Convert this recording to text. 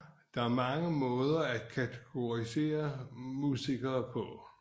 Der er mange måder at kategorisere musikere på